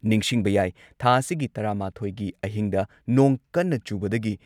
ꯅꯤꯡꯁꯤꯡꯕ ꯌꯥꯏ, ꯊꯥ ꯑꯁꯤꯒꯤ ꯇꯔꯥꯃꯥꯊꯣꯏꯒꯤ ꯑꯍꯤꯡꯗ ꯅꯣꯡ ꯀꯟꯅ ꯆꯨꯕꯗꯒꯤ